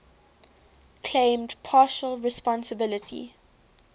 claimed partial responsibility